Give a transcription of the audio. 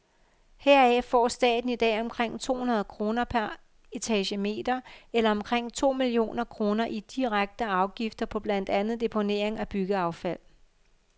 Heraf får staten i dag omkring to hundrede kroner per etagemeter eller omkring to millioner kroner i direkte afgifter på blandt andet deponering af byggeaffald.